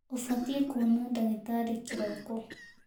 Ũbatiĩ kuona ndagitarĩ kĩroko.